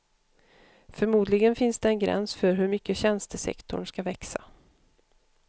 Förmodligen finns det en gräns för hur mycket tjänstesektorn ska växa.